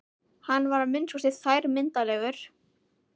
Hann var að minnsta kosti þrælmyndarlegur.